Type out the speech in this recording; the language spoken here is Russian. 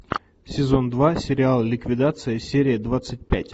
сезон два сериал ликвидация серия двадцать пять